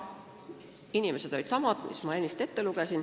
Hääletajad olid samad, mis ma enne ette lugesin.